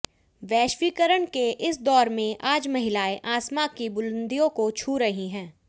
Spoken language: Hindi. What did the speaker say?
वैश्वीकरण के इस दौर में आज महिलाएं आसमां की बुलंदियों को छू रही हैं